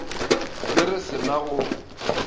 ge re se na go